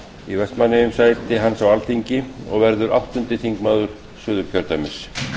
í vestmannaeyjum sæti hans á alþingi og verður áttundi þingmaður suðurkjördæmis